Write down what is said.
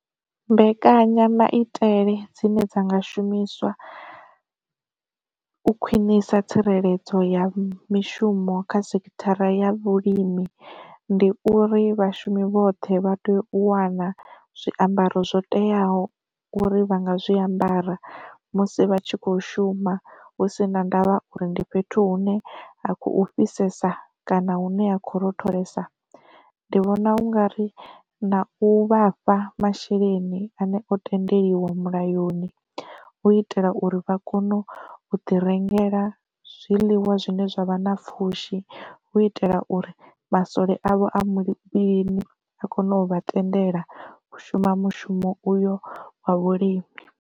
Mbekanyamaitele dzine dza nga shumiswa u khwinisa tsireledzo ya mishumo kha sekithara ya vhulimi, ndi uri vhashumi vhoṱhe vha tea u wana zwiambaro zwo teaho uri vha nga zwiambara musi vhatshi kho shuma hu si na ndavha uri ndi fhethu hune ha khou fhisesa, kana hune ha khou rotholesa. Ndi vhona ungari na u vhafha masheleni ane o tendeliwa mulayoni hu itela uri vha kone u ḓi rengela zwiḽiwa zwine zwavha na pfhushi, hu itela uri masole avho a muvhilini a kone u vha tendela u shuma mushumo uyo wa vhulimi.